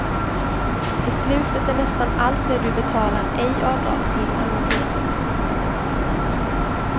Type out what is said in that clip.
I slutet är nästan allt det du betalar ej avdragsgill amortering.